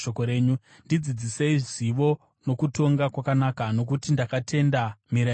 Ndidzidzisei zivo nokutonga kwakanaka, nokuti ndakatenda mirayiro yenyu.